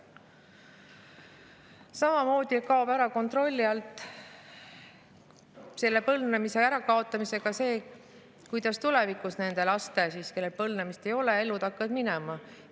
Samamoodi kaob põlvnemise ärakaotamisega kontroll selle üle, kuidas tulevikus nendel lastel, kelle põlvnemise kohta ei ole, elu hakkab minema.